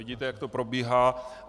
Vidíte, jak to probíhá.